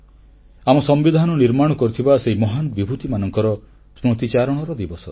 ଆମ ସମ୍ବିଧାନ ନିର୍ମାଣ କରିଥିବା ସେହି ମହାନ ବିଭୂତିମାନଙ୍କର ସ୍ମୃତିଚାରଣର ଦିବସ